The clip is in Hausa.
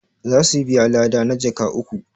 za su biya lada na jaka uku